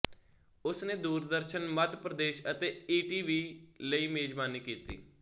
ਉਸ ਨੇ ਦੂਰਦਰਸ਼ਨ ਮੱਧਪ੍ਰਦੇਸ਼ ਅਤੇ ਈ ਟੀ ਵੀ ਲਈ ਮੇਜਵਾਨੀ ਕੀਤੀ